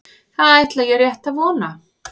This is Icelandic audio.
Það ætla ég rétt að vona